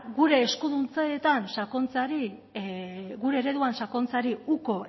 gure eskuduntzetan sakontzeari gure ereduan sakontzeari uko